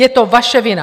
Je to vaše vina!